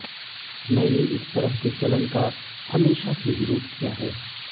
मैंने इस तरह के चलन का हमेशा से विरोध किया है